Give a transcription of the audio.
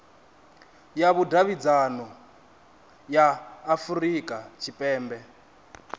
ya vhudavhidzano ya afurika tshipembe